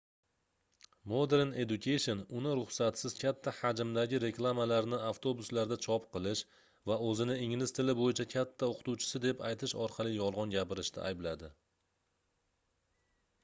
modern education uni ruxsatsiz katta hajmdagi reklamalarni avtobuslarda chop qilish va oʻzini ingliz tili boʻyicha katta oʻqituvchisi deb aytish orqali yolgʻon gapirishda aybladi